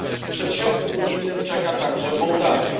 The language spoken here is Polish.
W przedsionku unijnym czeka także Mołdawia.